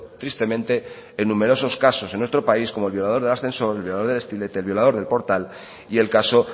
tristemente en numerosos casos en nuestro país como el violador del ascensor el violador del estilete el violador del portal y el caso